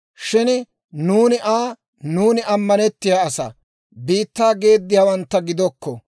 Shin nuuni Aa, ‹Nuuni ammanettiyaa asaa; biittaa geediyaawantta gidokko.